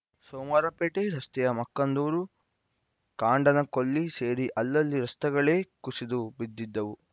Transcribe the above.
ಸೋಮವಾರಪೇಟೆ ರಸ್ತೆಯ ಮಕ್ಕಂದೂರು ಕಾಂಡನಕೊಲ್ಲಿ ಸೇರಿ ಅಲ್ಲಲ್ಲಿ ರಸ್ತೆಗಳೇ ಕುಸಿದು ಬಿದ್ದಿದ್ದವು